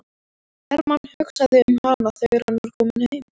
Hermann hugsaði um hana þegar hann var kominn heim.